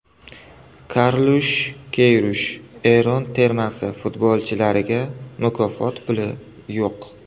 Karlush Keyrush: Eron termasi futbolchilariga mukofot puli yo‘q.